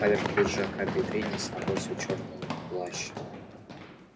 поверх пиджака бедренец набросил чёрный плащ